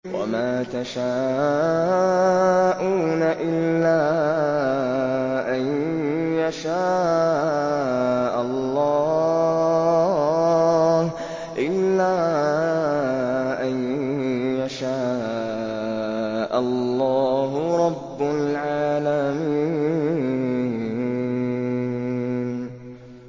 وَمَا تَشَاءُونَ إِلَّا أَن يَشَاءَ اللَّهُ رَبُّ الْعَالَمِينَ